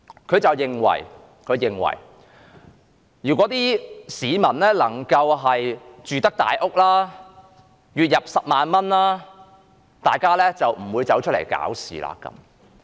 他認為如果市民有能力住大屋，月入10萬元，他們便不會出來搞事。